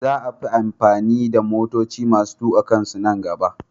Za a fi amfani da motoci masu tuka kansu nan gaba.